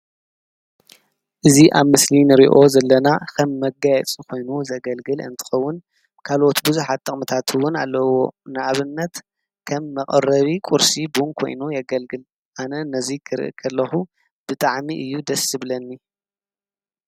እዚ ኣብ ምስሊ ንሪኦ ዘለና ከም መጋየፂ ኮይኑ ዘገልግል እንትከዉን ካልኦት ብዙሓት ጥቅሚታት እዉን ኣለዎ። ንኣብነት ከም መቀረቢ ቁርሲ ቡን ኮይኑ የገልግል። ኣነ ነዚ ክሪኢ ከለኩ ብጣዕሚ እዩ ደስ ዝብለኒ::